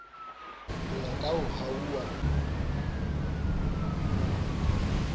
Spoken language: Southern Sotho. ho ya ka ho hahuwa